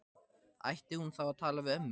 Ætti hún þá að tala við ömmu?